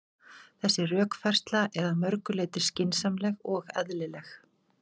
Þessi rökfærsla er að mörgu leyti skynsamleg og eðlileg.